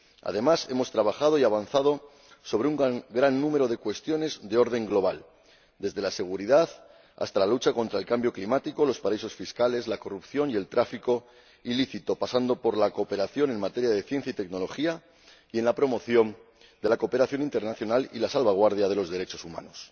Además, hemos trabajado y avanzado en un gran número de cuestiones de orden global, desde la seguridad hasta la lucha contra el cambio climático, los paraísos fiscales, la corrupción y el tráfico ilícito, pasando por la cooperación en materia de ciencia y tecnología y la promoción de la cooperación internacional y la salvaguardia de los derechos humanos.